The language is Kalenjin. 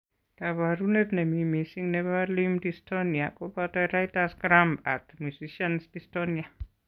Kabarunet nemi mising nebo limp dystonia koboto writer's cramp ak musician's dystonia